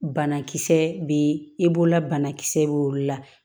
Banakisɛ bɛ i bolola banakisɛ bɛ olu la